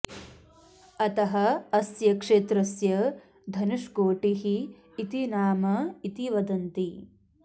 अतः अस्य क्षेत्रस्य धनुष्कोटिः इति नाम इति वदन्ति